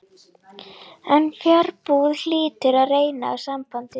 En fjarbúð hlýtur að reyna á sambandið.